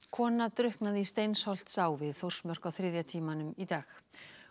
kona drukknaði í Steinsholtsá við Þórsmörk á þriðja tímanum í dag